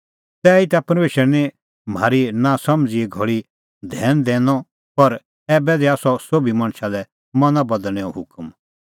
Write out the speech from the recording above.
तैहीता परमेशरै निं म्हारी नांसमझ़ीए घल़ी धैन दैनअ पर ऐबै दैआ सह सोभी मणछा लै मना बदल़णैंओ हुकम